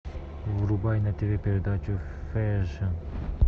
врубай на тв передачу фэшн